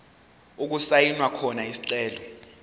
okusayinwe khona isicelo